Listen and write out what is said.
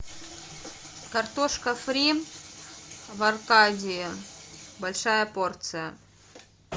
картошка фри в аркадии большая порция